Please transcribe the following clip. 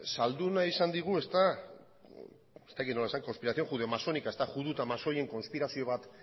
saldu nahi izan digu ez dakit nola esan conspiración judeomasónica judu eta masoien konspirazio bat